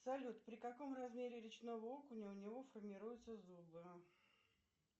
салют при каком размере речного окуня у него формируются зубы